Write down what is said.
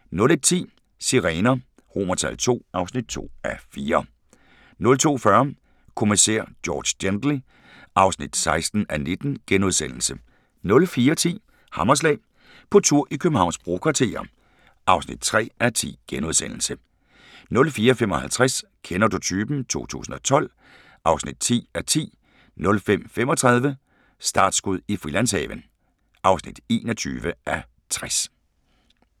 01:10: Sirener II (2:4) 02:40: Kommissær George Gently (16:19)* 04:10: Hammerslag – på tur i Københavns brokvarterer (3:10)* 04:55: Kender du typen? 2012 (10:10) 05:35: Startskud i Frilandshaven (21:60)